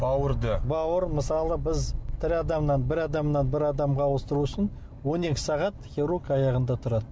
бауырды бауыр мысалы біз тірі адамнан бір адамнан бір адамға ауыстыру үшін он екі сағат хирург аяғында тұрады